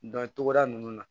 Dɔn togoda ninnu na